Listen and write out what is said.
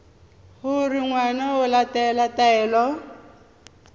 gore ngwana o latela taelo